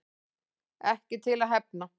Ekki til að hefna